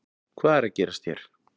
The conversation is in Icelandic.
Hvað er að gerast hér